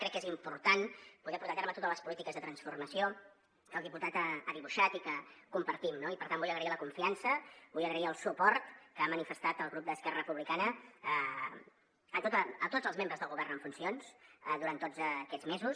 crec que és important poder portar a terme totes les polítiques de transformació que el diputat ha dibuixat i que compartim no i per tant vull agrair la confiança vull agrair el suport que ha manifestat el grup d’esquerra republicana a tots els membres del govern en funcions durant tots aquests mesos